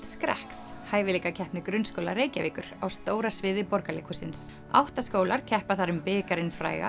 skrekks hæfileikakeppni grunnskóla Reykjavíkur á stóra sviði Borgarleikhússins átta skólar keppa þar um bikarinn fræga